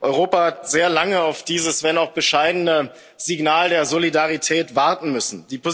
Europa hat sehr lange auf dieses wenn auch bescheidene Signal der Solidarität warten müssen.